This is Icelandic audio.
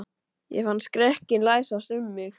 Ég fann skrekkinn læsast um mig.